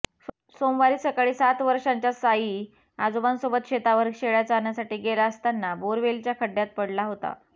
सोमवारी सकाळी सात वर्षांचा साई आजोबांसोबत शेतावर शेळ्या चरण्यासाठी गेला असताना बोअरवेलच्या खड्ड्यात पडला होता